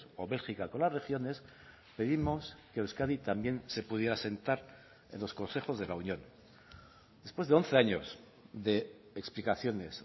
o bélgica con las regiones pedimos que euskadi también se pudiera sentar en los consejos de la unión después de once años de explicaciones